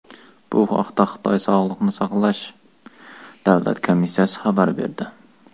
Bu haqda Xitoy Sog‘liqni saqlash davlat komissiyasi xabar berdi .